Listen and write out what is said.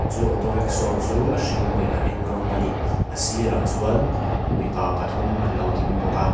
chu auto rickshaw chu a hring leh a eng rawng ani a sirah chuan mipa pathum anlo ding bawka--